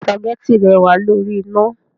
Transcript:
Béèni spaghetti rẹ wàá lórí iná